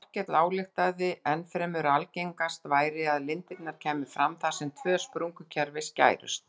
Þorkell ályktaði ennfremur að algengast væri að lindirnar kæmu fram þar sem tvö sprungukerfi skærust.